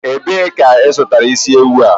Ebee ka ị zụtara isi ewu a?